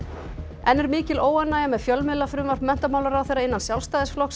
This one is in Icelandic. enn er mikil óánægja með fjölmiðlafrumvarp menntamálaráðherra innan Sjálfstæðisflokksins